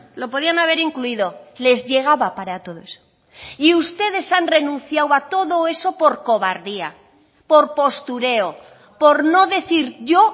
lo podían haber incluido les llegaba para todo eso y ustedes han renunciado a todo eso por cobardía por postureo por no decir yo